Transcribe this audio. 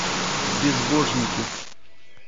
безбожники